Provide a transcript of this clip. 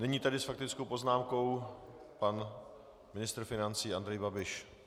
Nyní tedy s faktickou poznámkou pan ministr financí Andrej Babiš.